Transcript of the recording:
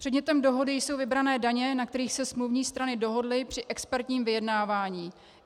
Předmětem dohody jsou vybrané daně, na kterých se smluvní strany dohodly při expertním vyjednávání.